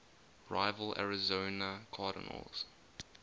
rival arizona cardinals